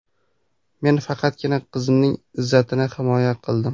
Men faqatgina qizimning izzatini himoya qildim.